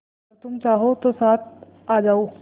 अगर तुम चाहो तो साथ आ जाओ